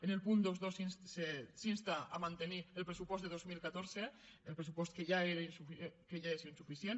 en el punt vint dos s’insta a mantenir el pressupost de dos mil catorze el pressupost que ja és insuficient